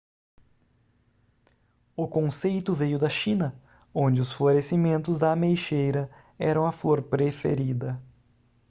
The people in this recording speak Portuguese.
o conceito veio da china onde os florescimentos da ameixeira eram a flor preferida